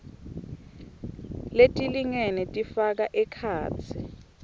letilingene tifaka ekhatsi